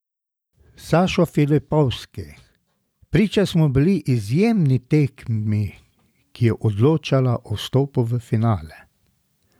Sašo Filipovski: 'Priča smo bili izjemni tekmi, ki je odločala o vstopu v finale.